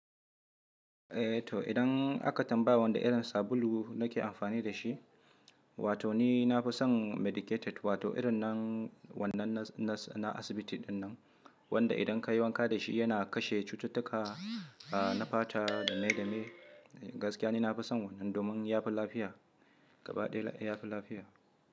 Eh to idan aka tambaya wanni irin sabulu nake amfani da shi, wato ni na fi son medicated wato irin na wannan na asibiti dinnan, wanda idan ka yi wanka da shi yana kashe cututtuka na fata da mai da mai. Gaskiya ni na fi son wannan domin ya fi lafiya, gabaɗaya ya fi lafiya.